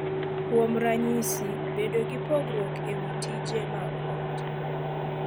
Kuom ranyisi, bedo gi pogruok e wi tije mag ot,